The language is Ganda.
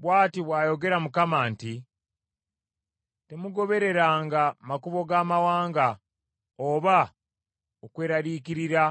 Bw’ati bw’ayogera Mukama nti, “Temugobereranga makubo g’amawanga oba okweraliikirira